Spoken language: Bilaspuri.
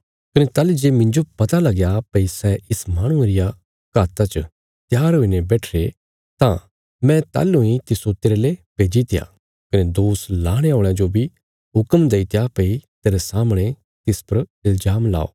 कने ताहली जे मिन्जो पता लगया भई सै इस माहणुये रिया घाता च त्यार हुईने बैठिरे तां मैं ताहलु इ तिस्सो तेरले भेजित्या कने दोष लाणे औल़यां जो बी हुक्म देईत्या भई तेरे सामणे तिस परा इल्जाम लाओ